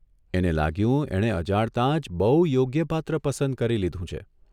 એને લાગ્યું એણે અજાણતા જ બહુ યોગ્ય પાત્ર પસંદ કરી લીધું છે.